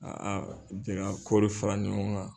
jɛ ka kɔɔri fara ɲɔgɔn kan.